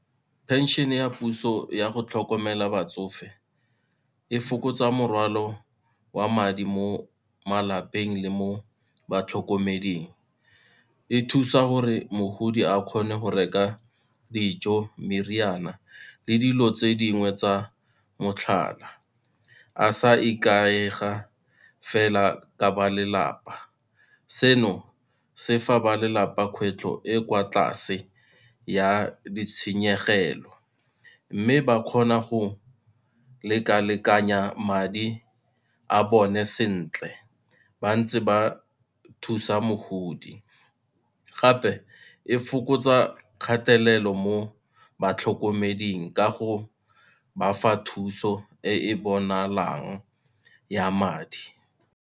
Pension ya puso ya go tlhokomela batsofe, e fokotsa morwalo wa madi mo malapeng le mo batlhokomeding. E thusa gore mogodi a kgone go reka dijo, meriana le dilo tse dingwe tsa motlhala, a sa ikaega fela ka ba lelapa. Seno se fa ba lelapa kgwetlho e kwa tlase ya ditshenyegelo, mme ba kgona go lekalekanya madi a bone sentle ba ntse ba thusa mogodi gape e fokotsa kgatelelo mo batlhokomeding ka go ba fa thuso e e bonalang ya madi.